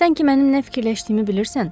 Sən ki, mənim nə fikirləşdiyimi bilirsən.